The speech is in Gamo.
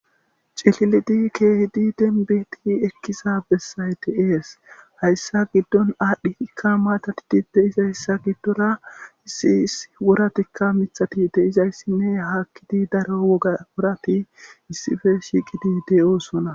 Cililidi keehidi denbeti ekkisa bessayte ees hayssa giddon aadhdhi hikka maatati dide izayssa giddora issiis woratikka mithatide izayssinne haakkidi daro gaworati issife shiiqi di de7oosona.